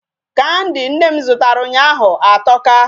Kandi nne m zụtara ụnyaahụ atọka.